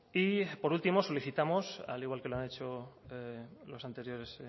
y por último solicitamos al igual que lo han hecho los anteriores